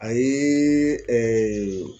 A ye